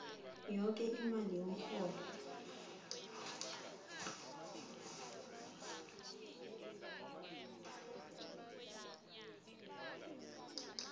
yoke imali yomrholo